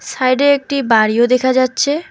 Side -এ একটি বাড়িও দেখা যাচ্ছে।